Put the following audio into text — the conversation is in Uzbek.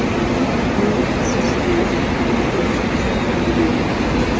Ming afsuski, ikkinchi qizim ham bemor.